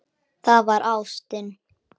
Það var ástin.